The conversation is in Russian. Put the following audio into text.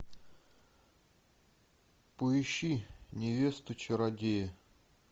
поищи невесту чародея